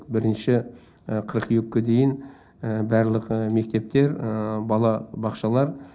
бірінші қыркүйекке дейін барлық мектептер бала бақшалар